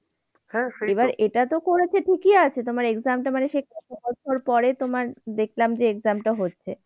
এবার এটাতো করেছে ঠিকই আছে তোমার exam টা মানে সেই কত বছর পরে দেখালাম যে exam টা হচ্ছে।